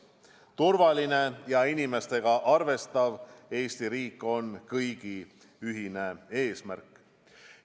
Turvaline ja inimestega arvestav Eesti riik on kõigi ühine eesmärk.